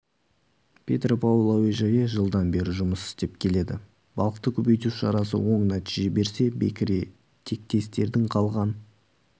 петропавл әуежайы жылдан бері жұмыс істеп келеді балықты көбейту шарасы оң нәтиже берсе бекіре тектестердің қалған